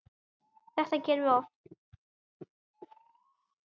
Þetta gerum við oft.